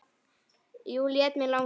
Jú, lét mig langa.